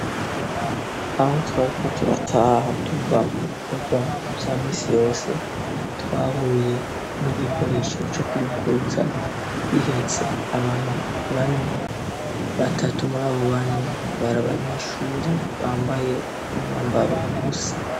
Aho twariko turataha tuva mu bikorwa vya misi yose twahuye n'igikoresho co kwigurutsa bihetse abantu bane batatu muri abo bane bari abanyeshure bambaye umwambaro usa.